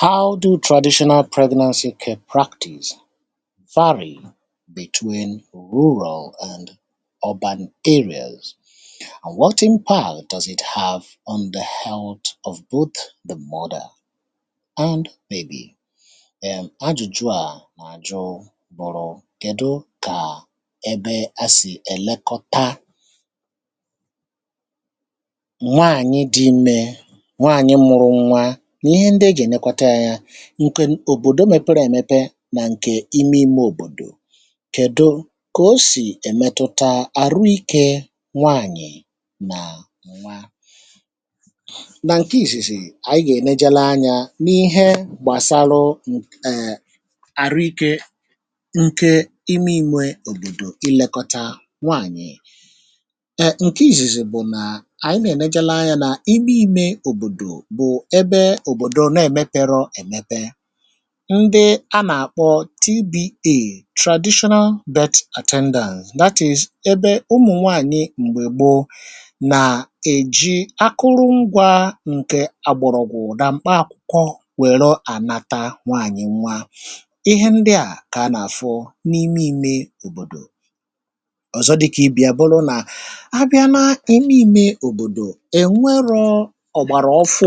hà ànyị nwụrụ nà ọ bụ̀ formularity nà formularity nà formularity nà formularity nà formularity nà formularity nà formularity nà formularity um nà formularity nà formularity nà formularity nà formularity nà formularity nà formularity nà formularity um nà formularity ǹkè òbòdò mèpere èmepe nà ǹkè ime ime òbòdò kèdo kà o sì èmetụta àrụ̇ ikė nwaànyị̀ nà nwa nà ǹke ìsìsì ànyị gà-ènejele anyȧ n’ihe gbàsaru èè àrụ̇ ikė ǹke ime ime òbòdò i lėkọta nwaànyị̀ ǹke ìsìsì bụ̀ nà ànyị nà-ènejelu anyȧ nà ime ime òbòdò um ǹdị a nà-àkpọ TBA (traditional bed attenders) ihe ndị à kà a nà-àfọ n’ime imė òbòdò ọ̀zọ dị kà ibì a bụrụ nà abịa na emepe òbòdò ènebe ọ̀gbàrà ọfụ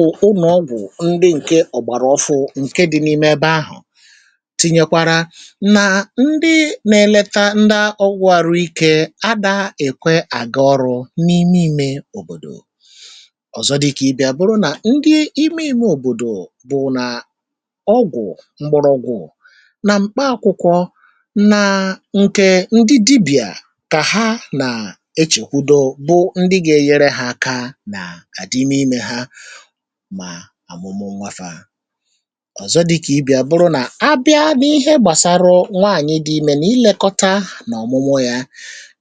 ǹke dị̇ n’ime ebe ahụ̀ tinyekwarà nà ndị nà-eleta ndị ọgwụ̇ àrụ̇ ikė adà èkwe àgị ọrụ n’ime imė òbòdò ọ̀zọ dịkà ibì a bụrụ nà ndị ime òbòdò bụ̀ nà ọgwụ̀ mgbụrụgwụ̀ nà mkpa akwụ̇kwọ̇ nà ǹke ndị dibịà kà ha nà echèkwudo bụ ndị gȧ-enyere hȧ aka nà àdị ime imė ha um ọ̀zọ dịkà ibì à bụrụ nà abịa n’ihe gbàsara nwaanyị̀ dị imè nà ilekọta n’ọ̀mụmụọ ya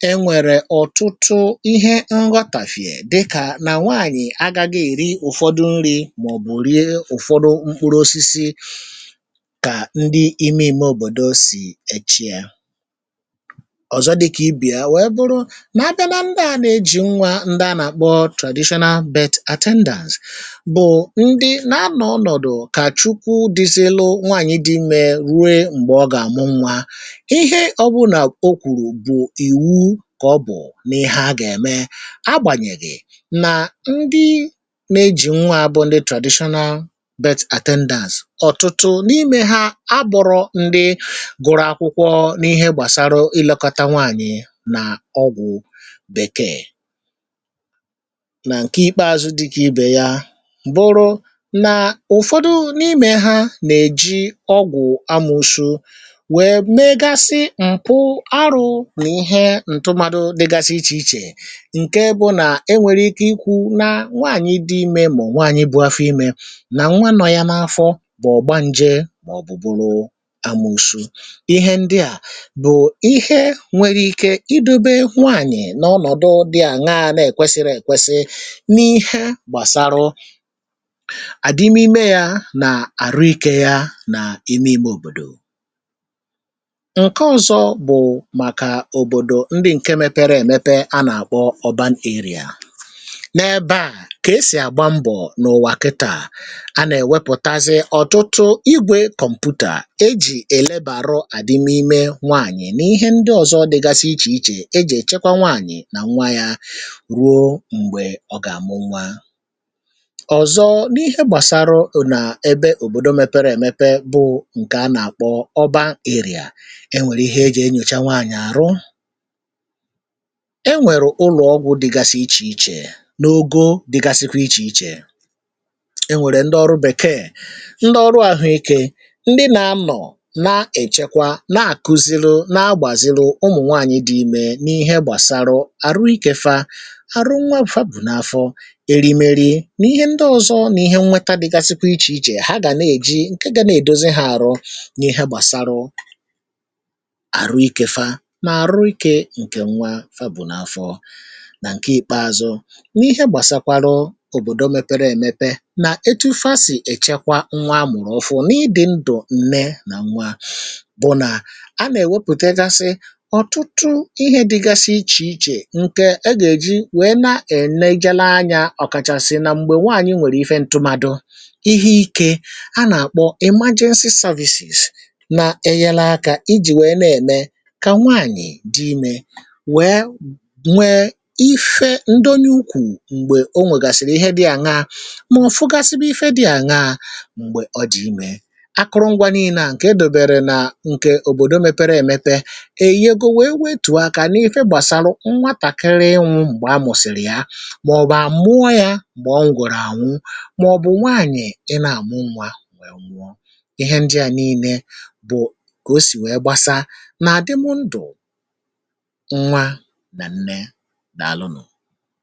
e nwèrè ọ̀tụtụ ihe ngwa kàfịè dịkà nà nwaanyị̀ agȧghi èri ụ̀fọdụ nri̇ màọ̀bụ̀ rie ụ̀fọdụ mkpụrụ̇ osisi kà ndị ime ime òbòdo sì echiė ọ̀zọ dịkà ibìa wèe bụrụ n’abịa nà ndị a nà-ejì nwa ndị a nà-àkpọ traditional bed attenders kà Chukwu dịsịrị nwaànyị dị mee rue m̀gbè ọ gà-àmụ nwa ihe ọbụnà o kwùrù bụ̀ ìwu kà ọ bụ̀ n’ihe a gà-ème a gbànyèrè nà ndị nȧ-ejì nwa bụ ndị traditional bed attenders um ọ̀tụtụ n’imė ha a bụ̀rụ̀ ndị gụrụ akwụkwọ n’ihe gbàsara ị lėkọta nwaànyị nà ọgwụ̀ bèkee nà ǹke ikpeazụ dịkà ibè ya nà-èji ọgwụ̀ amụ̀shụ wè meegasị mkpụ arụ̇ wụ̀ ihe ǹtụmadụ dịgasị ichè ichè ǹke bụ nà e nwèrè ike ikwu̇ nȧ nwaànyị dị imė mà ọ̀ nwaànyị bụ̀ afọ imė nà nwaanọ̇ yȧ n’afọ bụ̀ ọ̀gba ǹjè màọ̀bụ̀ bụ̀ amụ̀shụ ihe ndị à bụ̀ ihe nwèrè ike idube nwaànyị̀ n’ọnọ̀dụ dị à na-àna èkwesiri èkwesi n’ihe gbàsaarụ̇ n’ime yȧ nà àrụ̇ ikė ya nà-eme ime òbòdò um ǹke ọzọ bụ̀ màkà òbòdò ndị ǹke mepere èmepe a nà-àkpọ ọ̀bȧnerie n’ebe à kà esì àgba mbọ̀ n’ụwà kịtà a nà-èwepụ̀tazi ọ̀tụtụ igwè kọ̀mpụtà ejì èlebàrụ àdịm ime nwaànyị̀ n’ihe ndị ọ̀zọ dịgasị ichè ichè ejì èchekwa nwaànyị̀ nà nwa yȧ ruo m̀gbè ọ gà-àmụ nwa ebe òbòdo mepere èmepe bụ ǹkè a nà-àkpọ ọ̀ba èrịà e nwèrè ihe e jèe nyòcha nwaànyị̀ àrọ̇ e nwèrè ụlọ̀ ọgwụ̇ dịgasị ichè ichè n’ogo dịgasịkwa ichè ichè e nwèrè ndị ọrụ bèkeè ndị ọrụ àhụ̇ ikė ndị nȧ-anọ̀ na-èchekwa na-àkuziriụ na-agbàziriụ ụmụ̀ nwaànyị̀ dị imė n’ihe gbàsara àrụ̇ ikė fa àrụ̇ nwa bùfa bù n’afọ erimeri ǹke gȧ na-èdozi hȧ àrọ̇ n’ihe gbàsaarụ àrụ̇ ikė fa nà àrụ̇ ikė ǹkè nwa fa bù n’afọ̇ nà ǹke ìkpeazụ n’ihe gbàsaakwa rọọ òbòdò mepere èmepe nà etu fa sì èchekwa nwa amụ̀rụ̀ ụfọ̇ n’ịdị̇ ndụ̀ nne nà nwa bụ̀ nà a nà-èwepùte gasị ọ̀tụtụ ihe dịgasị ichè ichè ǹke e gà-èji wèe na-enegala anyȧ um ọ̀kàchàsị nà m̀gbè nwaànyị nwèrè ife ǹtụmadụ̇ a nà-àkpọ imajensi cervicis na-enyela akȧ ijì nwèe na-ème kà nwaànyị̀ dị imė nwèe nwee ife ndo n’ukwù m̀gbè o nwègàsìrì ihe dị àṅaa mà ọ̀fụgasịbụ ife dị àṅaa m̀gbè ọ dị imė akụrụngwa nìinè à ǹkè edòbèrè nà ǹkè òbòdo mepere èmepe èyego wèe wetù ahụ̀ kà n’ife gbàsara nwatàkịrị inwụ̇ m̀gbè àmụ̀sị̀rị̀ ya màọ̀bụ̀ àmụọ yȧ m̀gbè ọ ngọ̀rọ̀ ànwụ ihe ndị à nìinè bụ̀ kà o sì nwee gbasàa nà-àdịmọ ndụ̀ nwa nà nne dàalụ nụ̀